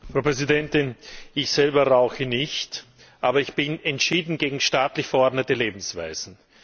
Frau Präsidentin! Ich selber rauche nicht, aber ich bin entschieden gegen staatlich verordnete Lebensweisen.